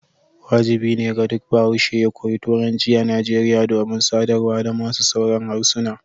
wajibi ne ga duk bahaushe ya koyi Turanci a Nigeria domin sadarwa da masu sauran harsuna.